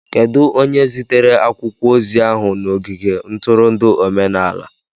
Kedu onye zitere akwụkwọ ozi ahụ na ogige ntụrụndụ omenala?